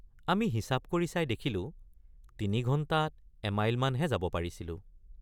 আমি হিচাপ কৰি চাই দেখিলো তিনি ঘণ্টাত এমাইলমানহে যাব পাৰিছিলোঁ।